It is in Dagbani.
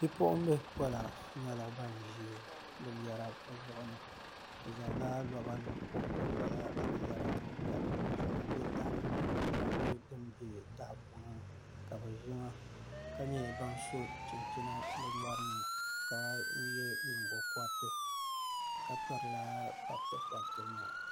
Bipuɣunbili pɔla nyɛla ban ʒi binyɛra bi zuɣuri ni bi zaŋla loba pobi pobi lala binyahari maa ka di shɛŋa bɛ taha ni ka di shɛŋa nyɛ din bɛ tahapona ni ka bi ʒi ŋa ka nyɛ ban so chinchina bi nyɔri ni ka yɛ a nyingokoriti ka pirila pabiti pabiti